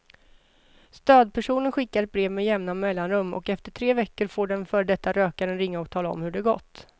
Stödpersonen skickar brev med jämna mellanrum och efter tre veckor får den före detta rökaren ringa och tala om hur det gått.